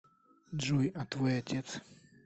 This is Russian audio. джой а твой отец